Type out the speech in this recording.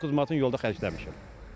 Doqquz manatı yolda xərcləmişəm.